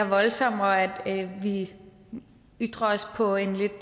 voldsommere at vi ytrer os på en lidt